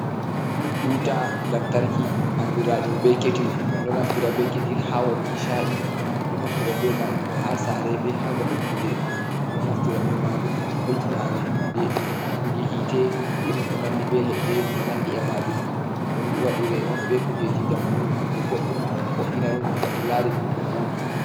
Buta lamtarki andiraɗum be ketil, min ɗo naftira be ketil ha waɗu ki sha’i, min ɗo naftira be majum ha sare be hababe kuɗe, min ɗo naftira be majum ngam hoitina amin kuɗe huɓbugi hite irin ko nandi be leɗɗe, ko nandi e majum ɗum ɗon waɗire on be kujeji jamanu kuje boɗɗum vo’ina ɗum heɓa to lari ɗum ɗo voɗi.